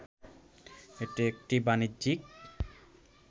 এটি একটি বাণিজ্যিক